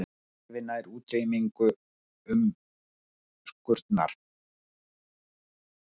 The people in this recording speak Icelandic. Skrefi nær útrýmingu umskurnar